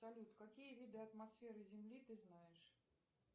салют какие виды атмосферы земли ты знаешь